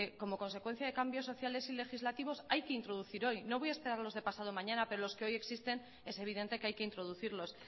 que como consecuencia de cambios sociales y legislativos hay que introducir hoy no voy a esperar a los de pasado mañana pero los que hoy existen es evidente que hay que introducirlos